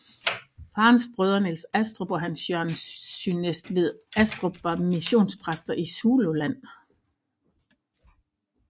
Farens brødre Nils Astrup og Hans Jørgen Synnestvedt Astrup var missionpræster i Zululand